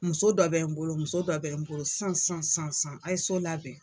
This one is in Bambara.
Muso dɔ bɛ n bolo muso dɔ bɛ n bolo san san san san a' ye so labɛn.